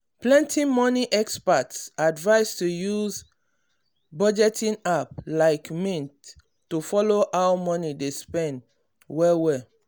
plenty money experts advise to use budgeting app like mint to follow how money dey spend well well.